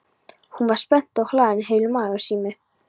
Hún var spennt og hlaðin heilu magasíni.